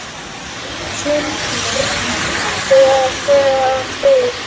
Svo mikið var ofurkappið að þegar þeir